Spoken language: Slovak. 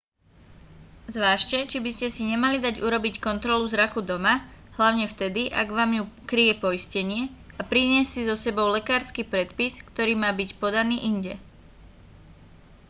zvážte či by ste si nemali dať urobiť kontrolu zraku doma hlavne vtedy ak vám ju kryje poistenie a priniesť si so sebou lekársky predpis ktorý má byť podaný inde